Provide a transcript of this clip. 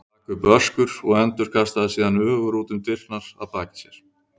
Hann rak upp öskur og endurkastaðist síðan öfugur út um opnar dyrnar að baki sér.